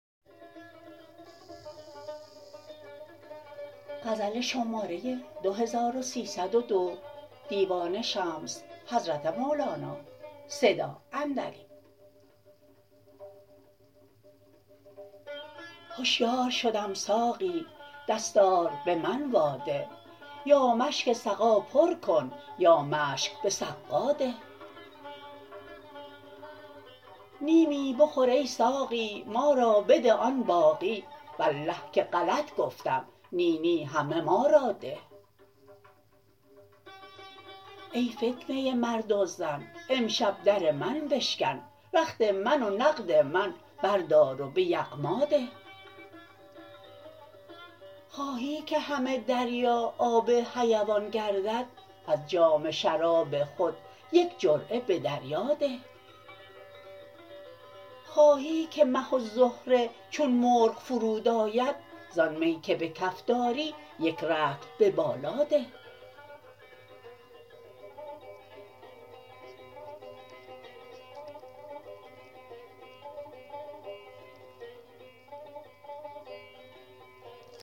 هشیار شدم ساقی دستار به من واده یا مشک سقا پر کن یا مشک به سقا ده نیمی بخور ای ساقی ما را بده آن باقی والله که غلط گفتم نی نی همه ما را ده ای فتنه مرد و زن امشب در من بشکن رخت من و نقد من بردار و به یغما ده خواهی که همه دریا آب حیوان گردد از جام شراب خود یک جرعه به دریا ده خواهی که مه و زهره چون مرغ فرود آید زان می که به کف داری یک رطل به بالا ده